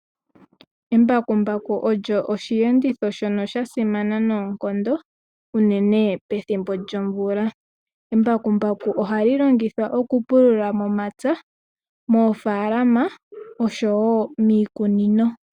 Embakumbaku olyo oshiyenditho shono shasimana noonkondo unene pethimbo lyomvula. Embakumbaku ohali longithwa okupulula momapya, moofaalama oshowoo miikunino.